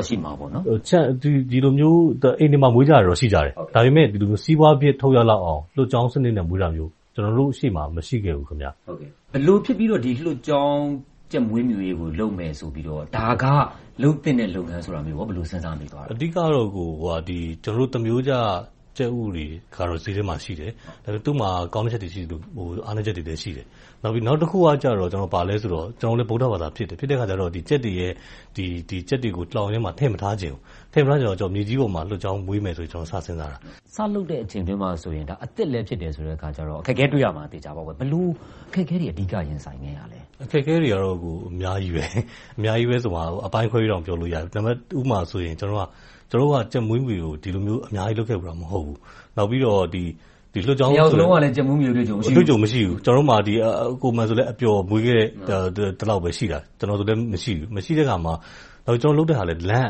ာ့ ရှိမှာပေါ့။ ကျနော် မှတ်သားမိသလောက် အိမ်တွေမှာ မွေးထားတာတော့ ရှိတယ်။ ဒါပေမဲ့ စီးပွားဖြစ် ထုတ်ရလောက်အောင် လွှတ်ကျောင်းစနစ်နဲ့ မွေးတာမျိုး ကျနော်တို့ရှေ့မှာ မရှိခဲ့ဘူး။ ဘယ်လိုဖြစ်ပြီး လွှတ်ကျောင်း ကြက်မွေးမြူးရေးကိုလုပ်မယ် ဆိုပြီးတော့၊ ဒါက လုပ်သင့်တဲ့လုပ်ငန်းဆိုပြီး စဉ်းစားမိသလဲ။ အဓိကတော့ ကျနော်တို့ သာမန်ရိုးကျ ကြက်ဥတွေကတော့ ဈေးထဲမှာရှိတယ်။ သူ့မှာ ကောင်းတဲ့ချက်တွေ ရှိသလို၊ အားနည်းချက်တွေလည်း ရှိတယ်။ နောက်တခုက ဘာလဲဆိုတော့ ကျနော်တို့လည်း ဗုဒ္ဓဘာသာဖြစ်တယ်။ ဖြစ်တဲ့အခါကြတော့ ကြက်တွေကို လှောင်အိမ်ထဲမှာ ထည့်မထားချင်ဘူး။ ထည့်မထားချင်တော့ မြေကြီးပေါ်မှာ လွှတ်ကျောင်းမွေးမယ်ဆိုပြီး စပြီစဉ်းစားခဲ့တာ။ စလုပ်တဲ့အချိန်မှာဆိုရင် ဒါက အသစ်လည်းဖြစ်တယ်ဆိုတော့ အခက်အခဲတွေ့မှာ သေချာသလောက်ပေါ့။ ဘယ်လို အခက်အခဲတွေ အဓိက ရင်ဆိုင်ခဲ့ရလဲ။ အခက်အခဲတွေကတော့ အများကြီးပါ။ အပိုင်းခွဲပြီးတောင် ပြောလို့ရတယ်။ တခုမှာဆိုရင် ကျနော်တို့က မွေးမြူးရေးကို ဒီလိုမျိုး အများကြီးလုပ်ခဲ့ဖူးတာ မဟုတ်ဘူး။ နှစ်ယောက်စလုံးကလည်း ကြက်မွေးမြူးရေး အတွေ့အကြုံ မရှိဘူး။ ကိုမာန်ဆိုလည်း အပျော်မွေးခဲ့တာပဲ ရှိတာ။ ကျနော်ဆိုလည်း မရှိတဲ့အခါမှာ ကျနော်တို့လုပ်တဲ့ဟာကလည်း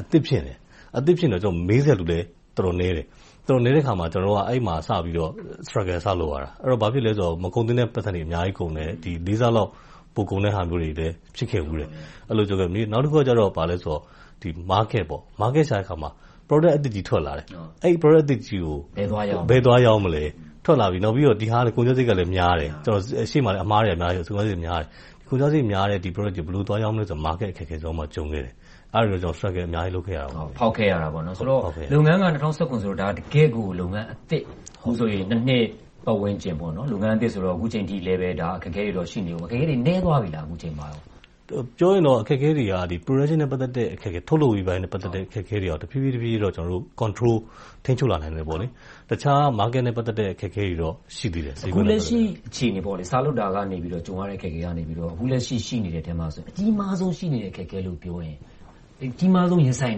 အသစ်ဖြစ်နေတယ်။ အသစ်ဖြစ်နေတော့ မေးစရာလူလည်း တော်တော်နည်းတယ်။ အဲဒီမှာစပြီးတော့ Struggle စလုပ်ရတယ်။ ဘာဖြစ်လဲဆိုတော့ မကုန်သင့်တဲ့ ပိုက်ဆံတွေ အများကြီးကုန်တယ်။ လေးဆလောက် ပိုကုန်တယ်ဟာမျိုးတွေလည်း ဖြစ်ခဲ့ဖူးတယ်။ နောက်တခုက ဘာလဲဆိုတော့ ဈေးကွက် - ဈေးကွက်ရှာတဲ့အခါမှာ ကုန်ပစ္စည်းအသစ်ကြီး ထွက်လာတယ်။ အဲဒါကို ဘယ်သွားရောင်းမလဲ။ နောက်ပြီးတော့ ဒီဟာက ကုန်ကျစရိတ်ကလည်း များတယ်။ ရှေ့မှာလည်း အမှားတွေကများတယ်။ ဈေးကွက်အခက်အခဲ ကြုံခဲ့တယ်။ အဲဒါမျိုးတွေ struggle အများကြီး လုပ်ခဲ့ရပါတယ်။ လုပ်ငန်းက ၂၀၁၇ မှာ စခဲ့တယ်ဆိုတော့ တကယ့်ကို အသစ်။ အခုဆိုရင် နှစ် ပတ်ဝန်းကျင်။ လုပ်ငန်းအသစ်ဆိုတော့ အခုအချိန်အထိလည်း အခက်အခဲတွေ ရှိနေအုံးမယ်။ အခုအချိန်မှာ အခက်အခဲတွေ နည်းသွားပြီလား။ ပြောရင်တော့ အခက်အခဲတွေက ထုတ်လုပ်မှုနဲ့ ပတ်သက်တဲ့ တဖြည်းဖြည်းနဲ့တော့ control ထိန်းချုပ်လာနိုင်တယ်။ တခြားဈေးကွက်နဲ့ ပတ်သက်တဲ့ အခက်အခဲတွေတော့ ရှိသေးတယ်။ အခုလက်ရှိ အခြေအနေ။ စလုပ်တာကနေ ကြုံရတဲ့ အခက်အခဲကနေ အခုလက်ရှိ ရှိနေတဲ့ အခက်အခဲတွေထဲမှာ အကြီးမားဆုံး ရှိနေတဲ့ အခက်အခဲ၊ အကြီးမားဆုံး ရင်ဆိုင်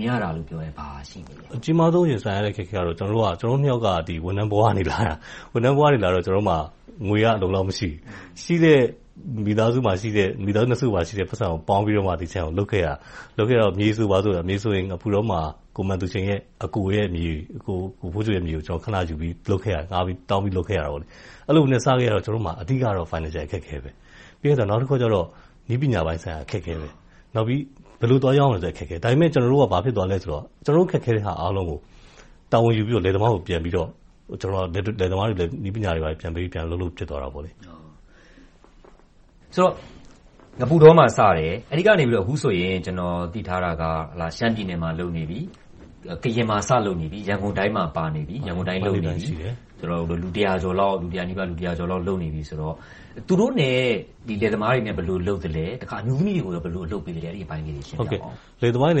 နေရတာကိုပြောရင် ဘာရှိမလဲ။ အကြီးမားဆုံး ရင်ဆိုင်နေရတဲ့ အခက်အခဲကတော့ ကျနော်တို့နှစ်ယောက်က ဝန်ထမ်းဘဝက လာတာ။ အဲဒီတော့ ငွေက အလုံအလောက် မရှိဘူး။ မိသားစုနှစ်စုမှာရှိတဲ့ ငွေကိုပေါင်းပြီးမှ ဒီခြံကို လုပ်ခဲ့ရတာပါ။ လုပ်ခဲ့တော့ မြေဆိုရင် ငပုတောမှာ ကိုမာန်သူရှိန်ရဲ့ အကိုရဲ့မြေကို ခဏယူပြီးတော့ လုပ်ခဲ့ရတယ်။ အဲဒီလိုနဲ့ စခဲ့ရတော့ ကျနော်တို့မှာ အဓိကတော့ ငွေကြေးအခက်အခဲပါ။ နောက်တခုကတော့ နည်းပညာပိုင်းဆိုင်ရာ အခက်အခဲ။ နောက်ပြီး ဘယ်လိုသွားရောင်းရမလဲဆိုတဲ့ အခက်အခဲ။ ဒါပေမဲ့ ကျနော်တို့က အခက်အခဲတွေအားလုံးကို တာဝန်ယူပြီးတော့ လယ်သမားကိုလည်း နည်းပညာတွေ ပြန်ပေးပြီးတော့ အလုပ်လုပ်ဖြစ်သွားတယ်။ ဆိုတော့ ငပုတောမှာ စခဲ့တယ်။ အဲဒီကနေ အခုဆိုရင် ကျနော် သိထားတာက ရှမ်းပြည်နယ် စလုပ်နေပြီ၊ ကရင်မှာ စလုပ်နေပြီ။ ရန်ကုန်တိုင်းမှာ စလုပ်နေပြီ။ လူတစ်ရာကျော် လုပ်နေပြီဆိုတော့ လယ်သမားတွေနဲ့ ဘယ်လိုလုပ်သလဲ။ လယ်သမားတွေနဲ့ကြတော့ ဘယ်လိုလုပ်သလဲဆိုတော့ န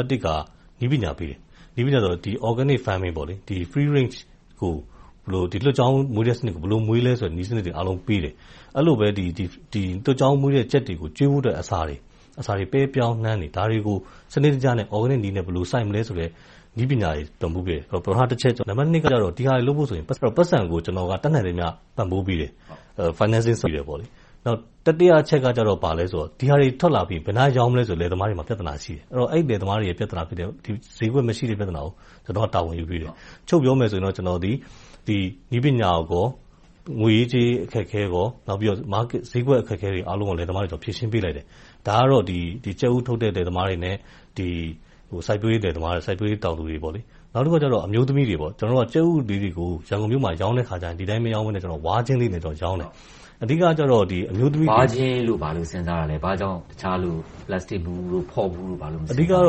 ည်းပညာပေးတယ်။ နည်းပညာက Organic Farming လွှတ်ကျောင်း Free-range စနစ်ကို ဘယ်လိုမွေးသလဲဆိုတဲ့ နည်းစနစ်တွေ အကုန်လုံးကို ပေးတယ်။ အဲဒီလိုပဲ လွှတ်ကျောင်းမွေးတဲ့ ကြက်တွေကို ကျွေးတဲ့အစာတွေ ပဲ၊ ပြောင်း၊ နှမ်းတွေကို ဒါတွေကို စနစ်တကျနဲ့ Organic နည်းနဲ့ ဘယ်လိုစိုက်မလဲဆိုတဲ့ နည်းပညာတွေ ပံ့ပိုးခဲ့တယ်။ ဒါတွေလုပ်ဖို့အတွက် ပိုက်ဆံကို ကျနော်က တတ်နိုင်သမျှ ပံ့ပိုးပေးတယ်။ တတိယအချက်ကတော့ ဒီဟာတွေ ထွက်လာပြီးရင် ဘယ်နားရောင်းမလဲဆိုတာ လယ်သမားတွေဆီမှာ ပြဿနာ ရှိတယ်။ အဲဒီ ဈေးကွက်မရှိတဲ့ ပြဿနာကို ကျနော်က တာဝန်ယူပေးတယ်။ ချုပ်ပြောမယ်ဆိုရင်တော့ ကျနော်သည် နည်းပညာ၊ ငွေရေးကြေးရေး အခက်အခဲ နဲ့ ဈေးကွက်အခက်အခဲတွေကို လယ်သမားတွေအတွက် ဖြေရှင်းပေးတယ်။ ဒါကတော့ ကြက်ဥထုတ်တဲ့ လယ်သမားတွေနဲ့ စိုက်ပျိုးရေးတောင်သူတွေအတွက်။ နောက်တခုက အမျိုးသမီးတွေဆို - ကြက်ဥတွေကို ရန်ကုန်မြို့မှာ ရောင်းတဲ့အခါမှာ ဒီအတိုင်း မရောင်းဘဲနဲ့ ဝါးခြင်းလေးတွေနဲ့ ရောင်းတယ်။ ဝါးခြင်းလို့ ဘာလို့စဉ်းစားတာလဲ။ ဘာကြောင့် တခြားတွေနဲ့ ပလက်စတစ်ဘူး၊ ဖော့ဘူးတို့ မသုံးတာလဲ။ အဓိကတော့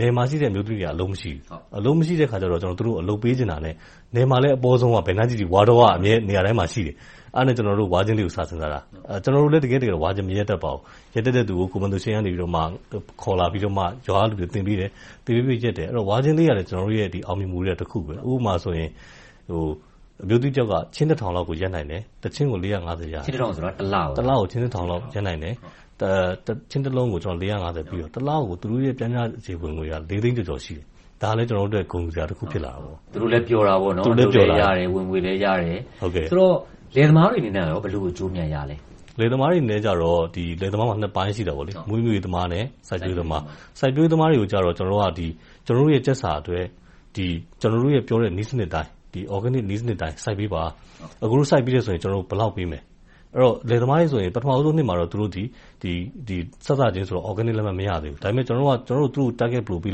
နယ်မှာရှိတဲ့ အမျိုးသမီးတွေက အလုပ်မရှိဘူး။ အလုပ်မရှိတဲ့အခါကြတော့ သူတို့ကို အလုပ်ပေးချင်တာနဲ့ နယ်မှာဆိုလဲ ဘယ်နားကြည့်ကြည့် ဝါးတောက အမြဲရှိတယ်။ အဲဒါနဲ့ ကျနော်တို့ ဝါးခြင်းလေးတွေကို စဉ်းစားတာ။ ကျနော်တို့လည်း တကယ့်တကယ်တော့ ဝါးခြင်းမရက်တတ်ပါဘူး။ ရက်တတ်တဲ့လူကို ကိုမာန်သူရှိန်က ခေါ်လာပြီး ရွာကလူတွေကို သင်ပေးတယ်။ အဲဒီတော့ ဝါးခြင်းလေးကလည်း ကျနော်တို့ အောင်မြင်မှုရဲ့ တစ်ခု ဖြစ်တယ်။ ဥပမာ အမျိုးသမီးတယောက် ခြင်းတစ်ထောင်လောက်ကို ရက်နိုင်တယ်။ တစ်ခြင်းကို ရတယ်။ ခြင်းတစ်ထောင်ဆိုတာ တစ်လကို ပြောတာလား။ တစ်လကို ခြင်းတစ်ထောင်လောက် ရက်နိုင်တယ်။ ခြင်းတစ်လုံးကို ပေးတယ်။ တစ်လကို သူတို့ရဲ့ ပျှမ်းမျှဝင်ငွေက လေးသိန်းကျော်ကျော် ရှိတယ်။ ဒါလဲ ကျနော်တို့အတွက် ဂုဏ်ယူစရာ ဖြစ်လာတယ်။ သူတို့လည်း ပျော်တာပေါ့။ အလုပ်အကိုင်ရတယ်၊ ဝင်ငွေရတယ်။ ဆိုတော့ လယ်သမားတွေအနေနဲ့ ဘယ်လိုအကျိုးအမြတ်ရလဲ။ လယ်သမားတွေအနေနဲ့ လယ်သမားမှာ နှစ်ပိုင်းရှိတယ်။ မွေးမြူးရေးသမားနဲ့ စိုက်ပျိုးရေးသမား။ စိုက်ပျိုးရေးသမားတွေကိုတော့ ကျနော်တို့ရဲ့ ကြက်စာကို ကျနော်တို့ပြောတဲ့ နည်းစနစ်အတိုင်း စိုက်ပေးပါ။ အကိုတို့ စိုက်ပေးတဲ့ဆိုရင် ကျနော်တို့ ဘယ်လောက်ပေးမယ်။ အဲဒီတော့ လယ်သမားတွေဆိုရင် ပထမနှစ်မှာဆိုရင် စစချင်းဆိုတော့ Organic လက်မှတ် မရသေးဘူး။ ကျနော်တို့က သူတို့ကို target ဘယ်လိုပေး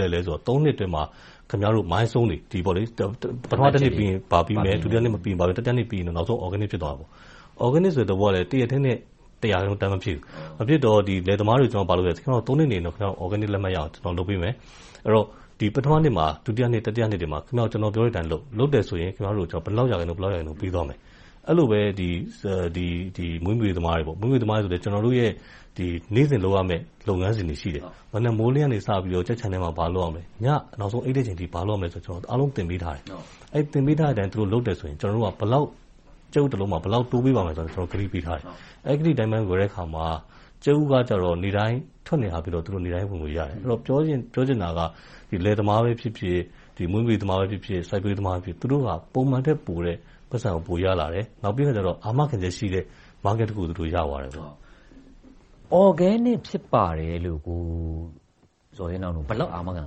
လိုက်လဲဆိုရင် ပထမနှစ်အတွင်းမှာ ခင်များတို့ Milestones တွေ ပထမနှစ်ပြီးရင် ဘာပြီရမယ်။ ဒုတိယနှစ်၊ တတိယနှစ်နဲ့ နောက်ဆုံး Organic ဖြစ်သွားတယ်။ Organic ဆိုတဲ့ သဘောကလည်း တစ်ရက်ထဲနဲ့ တစ်ရာတန်မဖြစ်ဘူး။ မဖြစ်တော့ လယ်သမားတွေကို ခင်များတို့ နှစ်နေရင် ခင်များတို့ကို Organic လက်မှတ်ရအောင် လုပ်ပေးမယ်။ အဲဒီတော့ ပထမနှစ်မှာ၊ ဒုတိယနှစ်၊ တတိယနှစ်မှာ ကျနော်တို့ပြောတဲ့အတိုင်းလုပ်၊ လုပ်တယ်ဆိုရင် ဘယ်လောက်ရာခိုင်နှုန်း ပေးသွားမယ်။ အဲဒီလိုပဲ မွေးမြူးရေးသမားတွေကိုလည်း ကျနော်တို့ရဲ့ နေ့စဉ်လုပ်ရမယ့် လုပ်ငန်းစဉ်တွေရှိတယ်။ မနက်မိုးလင်းတာနဲ့ ကြက်ခြံထဲမှာ ဘာလုပ်ရမယ်။ ညနောက်ဆုံး အိပ်တဲ့အချိန်အထိ ဘာလုပ်ရမယ်ဆိုတာတွေကို အားလုံးသင်ပေးထားတယ်။ အဲဒီလို သင်ပေးထားတဲ့အတိုင်း လုပ်တယ်ဆိုရင် ကြက်ဥတစ်လုံးကို ဘယ်လောက်တိုးပေးသွားမယ်ဆိုတာကို ကတိပေးထားတယ်။ အဲဒီကတိအတိုင်း လုပ်တဲ့အခါမှာ ကြက်ဥက နေ့တိုင်းထွက်နေတော့ နေ့တိုင်းဝင်ငွေ ရနေတယ်။ ပြောချင်တာက လယ်သမားပဲဖြစ်ဖြစ်၊ မွေးမြူးရေးသမားပဲဖြစ်ဖြစ်၊ စိုက်ပျိုးရေးသမားပဲဖြစ်ဖြစ် သူတို့က ပုံမှန်ထက်ပိုတဲ့ ပိုက်ဆံကို ပိုရလာတယ်။ နောက်ပြီးတော့ ဘာမှအခက်အခဲမရှိတဲ့ ဈေးကွက်ကို သူတို့ရသွားခဲ့တယ်။ Organic ဖြစ်ပါတယ်လို့ ဘယ်လောက် အာမခံ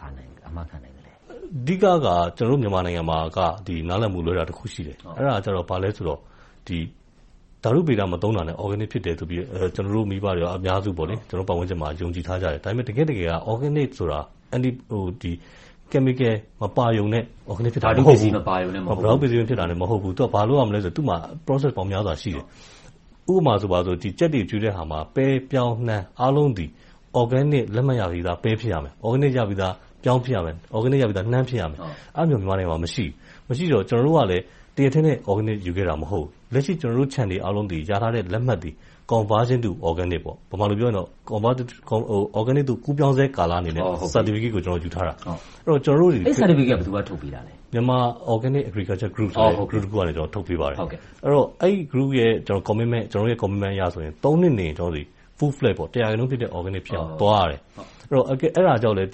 ပေးနိုင်လဲ။ အဓိကက ကျနော်တို့ မြန်မာနိုင်ငံမှာ နားလည်မှုလွဲတာ တစ်ခု ရှိတယ်။ အဲဒါက ဘာလဲဆိုတော့ ဓါတုဗေဒ မသုံးတာနဲ့ Organic ဖြစ်တယ်လို့ ကျနော်တို့မိဘတွေနဲ့ ပတ်ဝန်းကျင်မှာ ယုံကြည်ထားကြတယ်။ တကယ့်တကယ်က Organic ဆိုတာ ဓါတုပစ္စည်းတွေ မပါရုံနဲ့ Organic ဖြစ်တာ မဟုတ်ဘူး။ ဘာလုပ်ရမလဲဆိုရင် သူမှာ Process ပေါင်း များစွာရှိတယ်။ ဥပမာ ကြက်တွေကျွေးတဲ့အခါမှာ ပဲ၊ ပြောင်း၊ နှမ်း အားလုံးသည် Organic လက်မှတ်ရပြီးသာ ပဲဖြစ်ရမယ်၊ ပြောင်းဖြစ်ရမယ်၊ နှမ်း ဖြစ်ရမယ်။ အဲဒါမျိုး မြန်မာပြည်မှာ မရှိဘူး။ မရှိတော့ ကျနော်တို့ကလည်း တစ်ရက်တည်းနဲ့ Organic ယူခဲ့တာ မဟုတ်ဘူး။ လက်ရှိ ကျနော်တို့ခြံတွေအားလုံး ရထားတဲ့လက်မှတ်သည် Conversion to Organic မြန်မာလိုပြောမယ်ဆိုရင် သြဲဂန်နစ်သို့ ကူးပြောင်းဆဲကာလ လက်မှတ်ကို ယူထားတာ။ အဲဒီ လက်မှတ်ကို ဘယ်သူက ထုတ်ပေးတာလဲ။ Myanmar Organic Agriculture Group ဆိုတဲ့ အဖွဲ့က ထုတ်ပေးပါတယ်။ အဲဒီအဖွဲ့က Commitment ကျနော်တို့ရဲ့ Commitment အရဆိုရင် နှစ်နေရင် တစ်ရာရာခိုင်နှုန်းဖြစ်တဲ့ Organic ဖြစ်သွားတယ်။ အဲဒါကြောင့်လဲ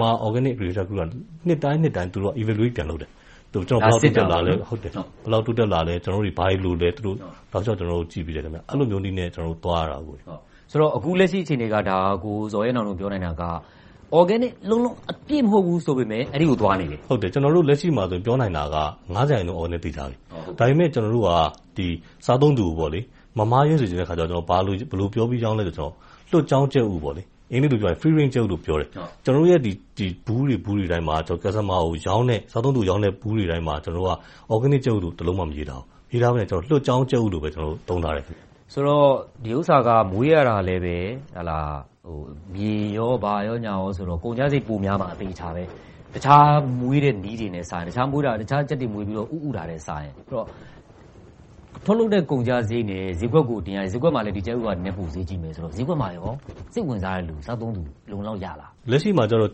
MOAG အဖွဲ့က နှစ်တိုင်း ပြန်လည်စစ်ဆေးမှုတွေ ပြန်လုပ်တယ်။ ဘယ်လောက်တိုးတက်လာလဲ။ ဘာတွေလိုလဲ။ တောက်လျှောက်ကြည့်ပေးတယ်။ အဲဒီလိုနည်းနဲ့ သွားနေတာပါ။ ဆိုတော့ အခုလက်ရှိ အခြေအနေက ကိုဇော်ရဲနောင်တို့ ပြောနိုင်တာက Organic လုံးလုံး အပြည့်မဟုတ်ဘူးဆိုပေမယ့် အဲဒီကို သွားနေတယ်။ ကျနော်တို့ လက်ရှိမှာ ပြောနိုင်တာက ရာခိုင်နှုန်း သြဲဂန်နစ် သေချာနေပြီ။ ဒါပေမဲ့ ကျနော်တို့က စားသုံးသူကို မမှားယွင်းစေချင်တော့ ဘယ်လိုပြောပြီး ရောင်းသလဲဆိုတော့ လွှတ်ကျောင်းကြက်ဥ - အင်္ဂလိပ်လိုတော့ Free-Range Chicken လို့ ပြောတယ်။ ကျနော်တို့ရဲ့ ကြက်ဥဘူးတွေမှာ စားသုံးသူကို သြဲဂန်နစ်ကြက်ဥလို့ တစ်လုံးမှ မရေးထားဘူး။ လွှတ်ကျောင်းကြက်ဥလို့ပဲ သုံးထားတယ်။ ဆိုတော့ ဒီဥစ္စာက မွေးရတာလဲ မြေ၊ ဘာညာလိုအပ်တယ်ဆိုတော့ ကုန်ကျစရိတ် ပိုများမှာ သေချာတယ်။ အခြားမွေးတဲ့နည်းတွေနဲ့စာရင် ဆိုတော့ ထုတ်လုပ်တဲ့ကုန်ကျစရိတ်နဲ့ ဈေးကွက်ကိုတင်ရတဲ့စရိတ်နဲ့ ဈေးကွက်မှာ ဒီကြက်ဥက နည်းနည်းဈေးပိုကြီးမယ်ဆိုတော့ ဈေးကွက်မှာ စိတ်ဝင်စားတဲ့လူ၊ စားသုံးတဲ့လူတွေ အလုံအလောက်ရလား။ လက်ရှိမှာ ကျနော်တို့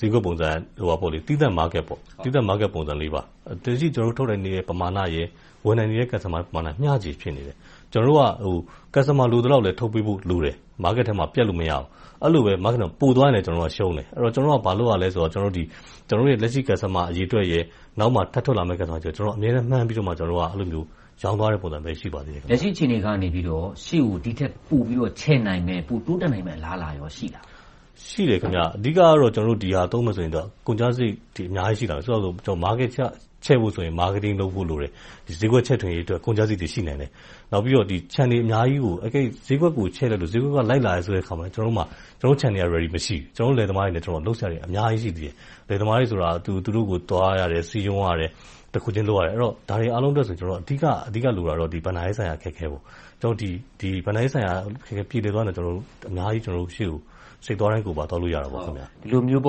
ဈေးကွက် ပုံစံက သီးသန့်ဈေးကွက် ဖြစ်တယ်။ လက်ရှိ ကျနော်တို့ ထုတ်နိုင်တဲ့ ပမာဏရယ်။ ဝယ်နိုင်တဲ့ Customs နဲ့ မျှခြေ ရှိနေသေးတယ်။ ကျနော်တို့ကလည်း ဝယ်သူ လိုသလောက်လည်း ထုတ်ပေးနိုင်ဖို့ လိုတယ်။ ဈေးကွက်ထဲမှာ ပြတ်လို့မရဘူး။ အဲဒီလိုပဲ ပိုသွားရင်လည်း ကျနော်တို့က ရှုံးတယ်။ အဲဒီတော့ ဘာလုပ်ရသလဲဆိုတော့ ကျနော်တို့လက်ရှိ ဝယ်သူအရေအတွက်နဲ့ နောက်ထပ်ထွက်လာမယ့် ဝယ်သူတွေကို မှန်းပြီးတော့ ရောင်းသွားတဲ့ အခြေအနေမှာပဲ ရှိပါသေးတယ်။ လက်ရှိ အခြေအနေကနေ ရှေ့ကို ဒီထက်ပိုပြီးတော့ ချဲ့နိုင်မယ့်၊ ပိုတိုးတက်နိုင်မယ့် အလားအလာကော ရှိသလား။ ရှိပါတယ်။ အဓိကတော့ ဒီဟာကို သုံးမယ်ဆိုရင် ကုန်ကျစရိတ်တွေ အများကြီးရှိမယ်။ ဥပမာ ဈေးကွက်ချဲ့မယ်ဆိုရင် ဈေးကွက်ဖော်တာ လုပ်ဖို့လိုမယ်။ အဲဒီအတွက် ကုန်ကျစရိတ်တွေ ရှိနိုင်တယ်။ ဈေးကွက်ကို ချဲ့လိုက်လို့ ဈေးကွက်က လိုက်လာတယ်ဆိုရင် ကျနော်တို့ ခြံတွေက အဆင်သင့် မရှိဘူး။ ကျနော်တို့လည်း လယ်သမားတွေနဲ့ လုပ်စရာတွေက အများကြီးရှိသေးတယ်။ လယ်သမားတွေဆိုတာ သူတို့ဆီကို သွားရတယ်။ စည်းရုံးရတယ်။ တစ်ခုချင်း လုပ်ရတယ်။ ဒါတွေအားလုံးအတွက်ဆိုရင် အဓိကလိုတာကတော့ ဘဏ္ဍာရေးဆိုင်ရာ အခက်အခဲတွေ ဖြစ်တယ်။ ဘဏ္ဍာရေးဆိုင်ရာ အခက်အခဲ ပြေလည်သွားမယ်ဆိုရင်တော့ အများကြီး စိတ်တိုင်းသွားကိုယ်ပါ သွားလိုရပါတယ်။ ဒီလိုမျိုး စ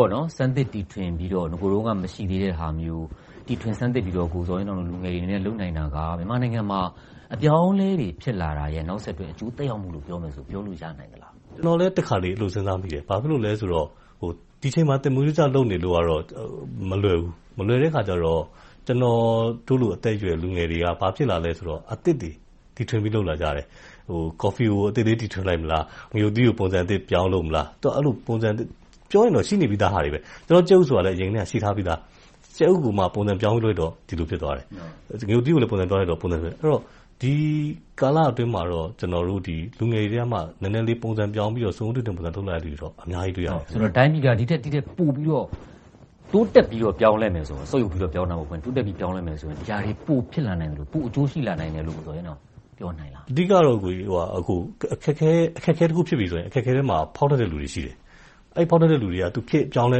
မ်းသပ်တီထွင်ပြီးတော့ အရင်တုန်းက မရှိသေးတဲ့ဟာမျိုး တီထွင်စမ်းသစ်ပြီးတော့ ကိုဇော်ရဲနောင်တို့ လူငယ်တွေအနေနဲ့ လုပ်နိုင်တာက မြန်မာနိုင်ငံမှာ အပြောင်းအလဲတွေ ဖြစ်လာတာရဲ့ နောက်ဆက်တွဲ အကျိုးသက်ရောက်မှုလို့ ပြောမယ်ဆိုရင် ပြောလို့ရနိုင်သလား။ ကျနော်လည်း တခါတလေ အဲဒီလို စဉ်းစားမိတယ်။ ဘာဖြစ်လို့လဲဆိုတော့ ဒီအချိန်မှာ သာမန်ရိုးကျ လုပ်နေလို့ကတော့ မလွယ်ဘူး။ မလွယ်တဲ့အခါကြတော့ ကျနော်တို့လို အသက်အရွယ်၊ လူငယ်တွေက ဘာဖြစ်လာလဲဆိုတော့ အသစ်တွေ၊ တီထွင်ပြီး လုပ်လာကြတယ်။ ကော်ဖီကို အသစ်လေး တီထွင်လိုက်မလား။ ငရုတ်သီးကို ပုံစံသစ် ပြောင်းလုပ်မလား။ ပြောရင်တော့ ရှိနေပြီသားတွေပါ။ ကြက်ဥဆိုတာလဲ အရင်ကတည်းက ရှိနေပြီသား။ ကြက်ဥကို ပုံစံပြောင်းလုပ်တော့ ဒီလိုဖြစ်သွားတယ်။ ငရုတ်သီးကိုလည်း ပုံစံပြောင်းလုပ်ရင် အသစ်ဖြစ်သွားတယ်။ ဒီကာလအတွင်းမှာတော့ လူငယ်တွေထဲက နည်းနည်းလေး ပုံစံပြောင်းပြီးတော့ စွန့်ဦးတီထွင်လုပ်လာသူတွေ အများကြီး တွေ့ရပါတယ်။ တိုင်းပြည်က ဒီထက်ပိုပြီးတော့ တိုးတက်ပြီး ပြောင်းလဲမယ်ဆိုရင် ဒီဟာတွေ ပိုဖြစ်လာနိုင်သလို၊ ပိုအကျိုးရှိလာမယ်လို့ ပြောနိုင်လား။ အဓိကတော့ အခက်အခဲတစ်ခု ဖြစ်ပြီဆိုရင် အခက်အခဲမှာ ဖောက်ထွက်တဲ့လူတွေ ရှိတယ်။ အဲဒီဖောက်ထွက်တဲ့ လူတွေက ခေတ်အပြောင်းအလဲ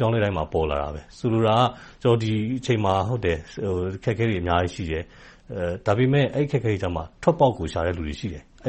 တိုင်းမှာ ပေါ်လာတယ်။ ဆိုလိုတာက ဒီအချိန်မှာ အခက်အခဲတွေ အများကြီးရှိတယ်။ ဒါပေမဲ့ အဲဒီအခက်အခဲတွေကြားမှာ ထွက်ပေါက်ကို ရှာတဲ့လူတွေ ရှိတယ်။ အဲ